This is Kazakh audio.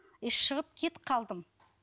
и шығып кетіп қалдым